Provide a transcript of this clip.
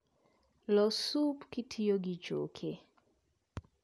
Los sup kitiyo gi choke